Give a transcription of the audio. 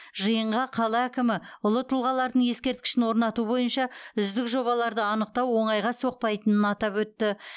жиынға қала әкімі ұлы тұлғалардың ескерткішін орнату бойынша үздік жобаларды анықтау оңайға соқпайтынын атап өтті